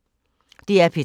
DR P3